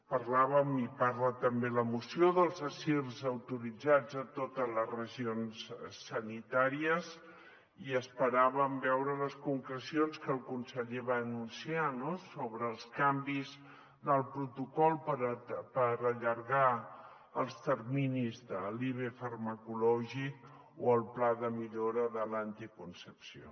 parlàvem i en parla també la moció dels assirs autoritzats a totes les regions sanitàries i esperàvem veure les concrecions que el conseller va anunciar no sobre els canvis del protocol per allargar els terminis de la ive farmacològica o el pla de millora de l’anticoncepció